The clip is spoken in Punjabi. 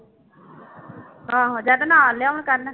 ਆਹੋ ਜਾਂ ਤਾਂ ਨਾਲ ਲਿਆਉਣ ਕਰਨ